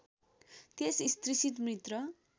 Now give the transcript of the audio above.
त्यस स्त्रीसित मृत